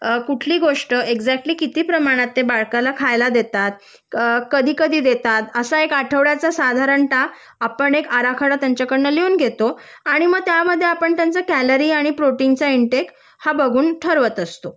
कुठली गोष्ट एक्सकटली कुठली गोष्ट ते बालकाला कीती प्रमाणात खायला देतात अ कधी कधी देतात असा एक आठवड्याचा साधारण: आपण आराखडा त्यांच्याकडून लिहून घेतो आणि मग त्यामध्ये आपण कॅलरी आणि प्रोटीन चा इंटेक हा बघून ठरवत असतो